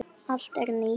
Allt er nýtt.